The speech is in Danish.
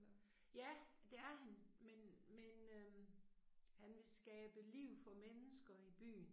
Ja, det er han, men men øh han vil skabe liv for mennesker i byen